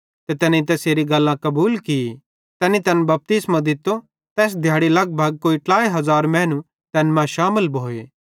ते तैनेईं तैसेरी गल्लां कबूल की तैनी तैन बपतिस्मो दित्तो तैस दिहैड़ी लगभग कोई 3000 मैनू तैन मां शामिल भोए